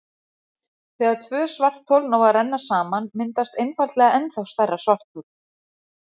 Þegar tvö svarthol ná að renna saman myndast einfaldlega ennþá stærra svarthol.